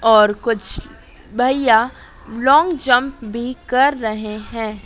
और कुछ भैया लॉन्ग जंप भी कर रहे हैं।